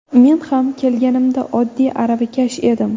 Men ham kelganimda oddiy aravakash edim.